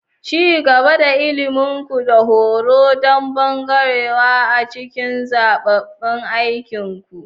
Ci gaba da ilimin ku da horo don birgewa a cikin zaɓaɓɓen aikinku.